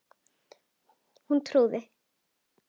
Hún trúði